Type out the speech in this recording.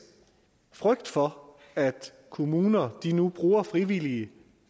frygt for at kommuner nu bruger frivillige